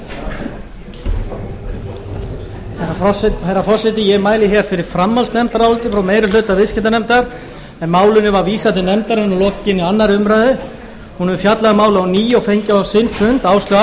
starfsemi þrotabús herra forseti ég mæli hér fyrir framhaldsnefndaráliti frá meiri hluta viðskiptanefndar en málinu var vísað til nefndarinnar að lokinni annarri umræðu hún hefur fjallað um málið á ný og fengið á sinn fund áslaugu